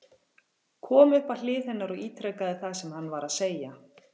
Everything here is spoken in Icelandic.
Kom upp að hlið hennar og ítrekaði það sem hann var að segja.